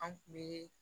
An kun bi